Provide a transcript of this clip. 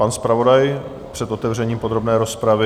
Pan zpravodaj před otevřením podrobné rozpravy?